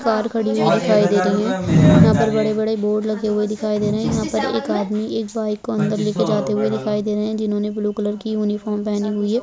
Car खड़ी हुई दिखाई दे रही है। यहाँ पर बड़े-बड़े बोर्ड लगे हुए दिखाई दे रहे है। यहाँ पे एक आदमी बाइक को लेके अंदर जाते हुए दिखाई दे रहे है। जिन्होंने ब्लू कलर के यूनिफार्म पहनी हुई है।